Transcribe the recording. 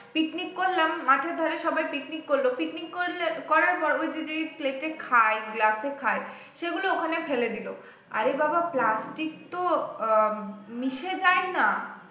picnic করলাম মাঠের ধারে সবাই picnic করলো picnic করে নিলে করার পর ঐইযে যে plate এ খায় glass এ খায় সেগুলো ওখানে ফেলে দিল আরে বাবাঃ plastic তো আহ উম মিশে যাই না